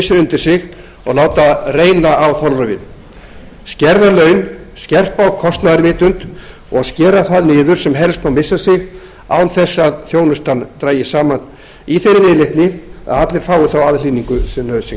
hausinn undir sig og láta reyna á þolrifin skerða laun skerpa á kostnaðarvitund og skera það niður sem helst má missa sig án eins að þjónustan dragist saman í þeirri viðleitni að allir fái þá aðhlynningu sem nauðsyn